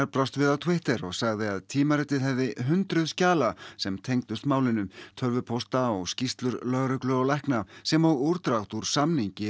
brást við á Twitter og sagði að tímaritið hefði hundruð skjala sem tengdust málinu tölvupósta og skýrslur lögreglu og lækna sem og útdrátt úr samningi